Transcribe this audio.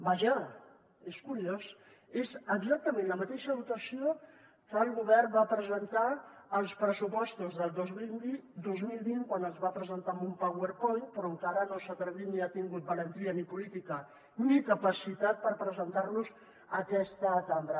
vaja és curiós és exactament la mateixa dotació que el govern va presentar als pressupostos del dos mil vint quan es van presentar en un powerpoint però encara no s’ha atrevit ni ha tingut valentia política ni capacitat per presentar los a aquesta cambra